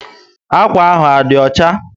Akwa ahụ á dí ọchá?